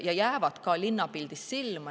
Need jäävad ka linnapildis silma.